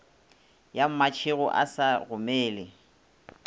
ya mmatšhego a sa gomele